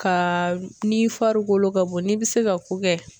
Ka ni fari wolo ka bon n'i bɛ se ka ko kɛ.